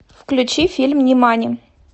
включи фильм нимани